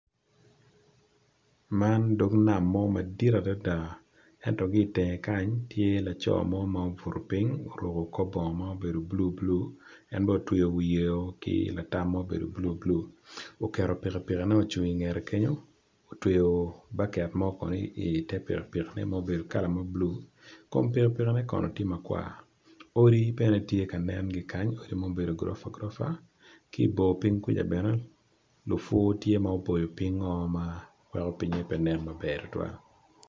Man dog nam mo madit adada ento kitenge kany tye laco mo ma obuto ping oruko kor bongo ma obedo blue blue en bene otweyo wiye ki latam ma obedo blue blue oketo pikipiki ne ocung ingete kenyo otweyo baket mo kono ite pikipiki ma obedo kala me blue kom pikipiki ne kono tye makwar odi bene tye ka nen kikany odi ma obedo goropa goropa kibor ping kuca bene lupur tye ma oboyo ping o ma pinge pe nen maber tutwal.